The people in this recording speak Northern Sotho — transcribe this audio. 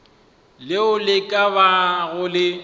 leo le ka bago le